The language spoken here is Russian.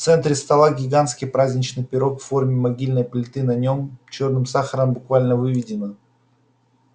в центре стола гигантский праздничный пирог в форме могильной плиты на нем чёрным сахаром буквально выведено